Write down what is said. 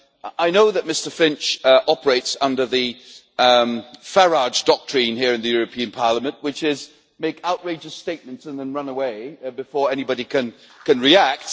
I know that Mr Finch operates under the Farage doctrine here in the European Parliament, which is to make outrageous statements and then run away before anybody can react.